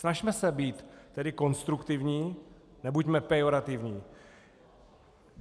Snažme se být tedy konstruktivní, nebuďme pejorativní.